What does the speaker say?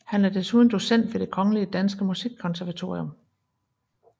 Han er desuden docent ved Det Kongelige Danske Musikkonservatorium